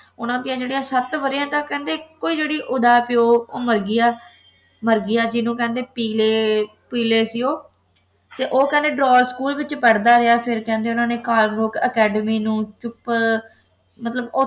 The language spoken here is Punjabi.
ਉਨ੍ਹਾਂ ਦੇ ਜਿਹੜੇ ਸੱਤ ਵਰਿਆਂ ਤੱਕ ਕਹਿੰਦੇ ਇੱਕ ਜਿਹੜਾ ਹੈ ਓਹਦਾ ਪਿਓ ਉਹ ਮਰ ਗਿਆ ਮਰ ਗਿਆ ਜਿਸਨੂੰ ਕਹਿੰਦੇ ਪੀਲੇ ਪੀਲੇ ਸੀ ਉਹ ਤੇ ਉਹ ਕਹਿੰਦੇ ਡਰਾ ਸਕੂਲ ਵਿੱਚ ਪੜ੍ਹਦਾ ਰਿਹਾ ਫੇਰ ਕਹਿੰਦੇ ਉਨ੍ਹਾਂ ਨੇ ਕਾਰਲਬੂਕ ਅਕੈਡਮੀ ਨੂੰ ਚੁੱਪ ਮਤਲਬ ਉੱਥੇ